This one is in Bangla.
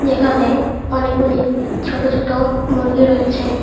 এখানে অনেকগুলি ছোট ছোট মুরগি রয়েছে।